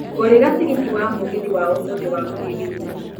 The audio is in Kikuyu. ngũrĩra tigiti wa mũgithi wa ũmũthĩ wa gũthiĩ githumo